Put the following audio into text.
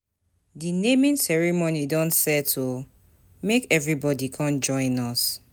Di naming ceremony don set o, make everybodi com join us.